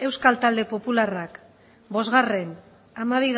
euskal talde popularrak bost hamabi